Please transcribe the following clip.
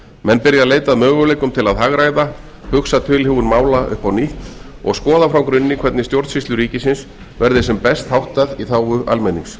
menn byrja að leita að möguleikum til að hagræða hugsa tilhögun mála upp á nýtt og skoða frá grunni hvernig stjórnsýslu ríkisins verði sem best háttað í þágu almennings